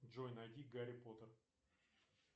джой найди гарри поттер